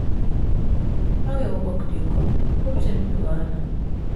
how your work dey go? hope say no be wahala?